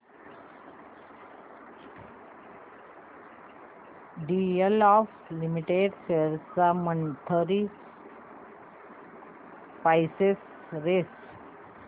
DLF limited shares ची monthly price range